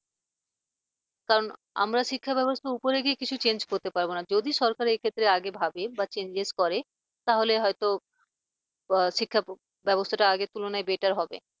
কারণ আমরা শিক্ষা ব্যবস্থার উপরে গিয়ে কিছু change করতে পারবো না যদি সরকার এক্ষেত্রে আগে ভাবে বা change করে তাহলে হয়তো শিক্ষা ব্যবস্থাটা আগের তুলনায় better হবে।